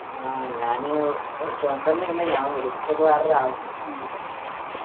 ഞാന്‌ സുഖം തന്നെണ് ഞാൻ വിളിച്ചത് വേറെരു ആവിശ്യത്തിനുവേണ്ടിട്ടായിരുന്നു.